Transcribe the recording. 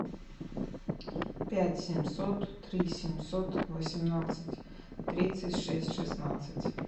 пять семьсот три семьсот восемнадцать тридцать шесть шестнадцать